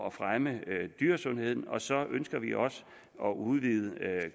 at fremme dyresundheden og så ønsker vi også at udvide